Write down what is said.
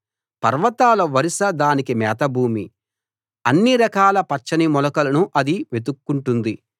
పర్వతాల వరుస దానికి మేతభూమి అన్ని రకాల పచ్చని మొలకలను అది వెతుక్కుంటుంది